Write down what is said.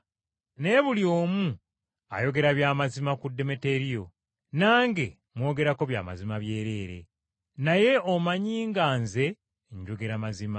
Naye buli omu ayogera bya mazima ku Demeteriyo. Nange mwogerako bya mazima byereere. Naye omanyi nga nze njogera mazima.